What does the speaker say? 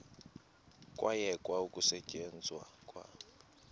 kwayekwa ukusetyenzwa kwa